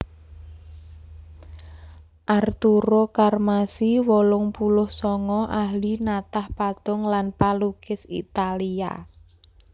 Arturo Carmassi wolung puluh sanga ahli natah patung lan palukis Italia